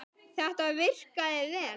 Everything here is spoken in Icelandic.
Þetta virkaði vel.